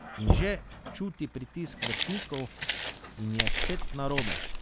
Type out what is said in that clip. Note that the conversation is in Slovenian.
In že čuti pritisk vrstnikov, in je spet narobe.